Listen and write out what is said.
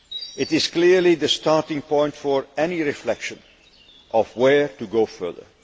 It is clearly the starting point for any reflection on where to go further.